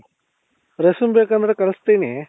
Ration ಬೇಕಂದ್ರೆ ಕಳಿಸ್ತೀನಿ